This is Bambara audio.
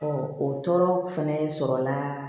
o tɔɔrɔ fɛnɛ sɔrɔ la